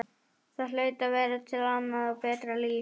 Það hlaut að vera til annað og betra líf.